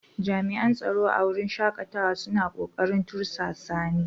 Jami'an tsaro a wurin shakatawa suna kokarin tursasa ni.